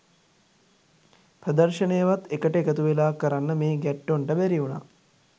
ප්‍රදර්ශනයවත් එකට එකතු වෙලා කරන්න මේ ගැට්ටොන්ට බැරි වුණා